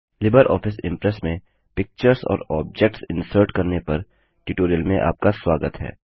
Libre office Impress में pictures और objects इनसर्टप्रविष्ट करने पर ट्यूटोरियल में आपका स्वागत है